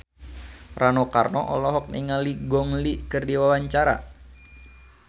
Rano Karno olohok ningali Gong Li keur diwawancara